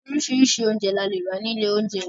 Oríṣiríṣi oúnjẹ la lè rà nílé oúnjẹ.